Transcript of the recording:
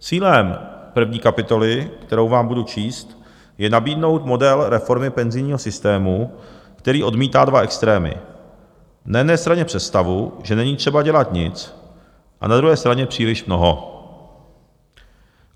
Cílem první kapitoly, kterou vám budu číst, je nabídnout model reformy penzijního systému, který odmítá dva extrémy: na jedné straně představu, že není třeba dělat nic, a na druhé straně příliš mnoho.